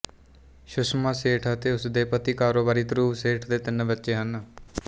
ਸੁਸ਼ਮਾ ਸੇਠ ਅਤੇ ਉਸ ਦੇ ਪਤੀ ਕਾਰੋਬਾਰੀ ਧ੍ਰੁਵ ਸੇਠ ਦੇ ਤਿੰਨ ਬੱਚੇ ਹਨ